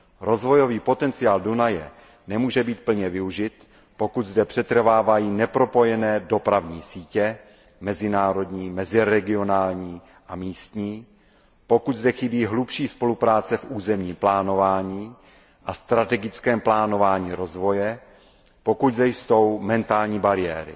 Rozvojový potenciál Dunaje nemůže být plně využit, pokud zde přetrvávají nepropojené dopravní sítě mezinárodní, meziregionální a místní, pokud zde chybí hlubší spolupráce v územním plánování a strategickém plánování rozvoje, pokud zde jsou mentální bariéry.